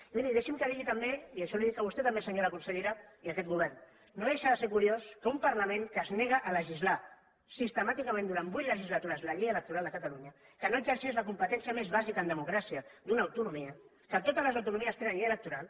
i miri deixi’m que ho digui també i això li ho dic a vostè també senyora consellera i a aquest govern no deixa de ser curiós que un parlament que es nega a legislar sistemàticament durant vuit legislatures la llei electoral de catalunya que no exerceix la competència més bàsica en democràcia d’una autonomia que totes les autonomies tenen llei electoral